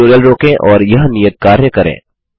tutorial रोकें और यह नियत कार्य करें